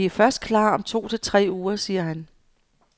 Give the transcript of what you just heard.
Vi først klar om to til tre uger, siger han.